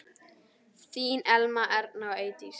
Þín Elmar, Erna og Eydís.